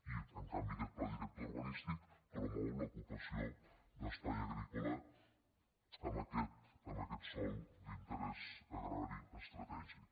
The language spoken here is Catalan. i en canvi aquest pla director urbanístic promou l’ocupació d’espai agrícola amb aquest sòl d’interès agrari estratègic